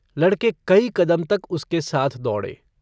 लड़के कई कदम तक उसके साथ दौड़े।